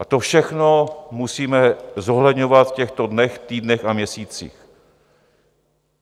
A to všechno musíme zohledňovat v těchto dnech, týdnech a měsících.